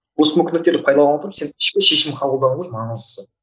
осы мүмкіндіктерді пайдаланып сен ішкі шешім қабылдау ғой маңыздысы